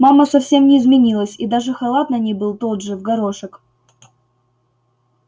мама совсем не изменилась и даже халат на ней был тот же в горошек